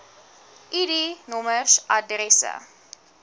id nommers adresse